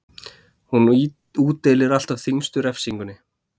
Hún útdeilir alltaf þyngstu refsingunni.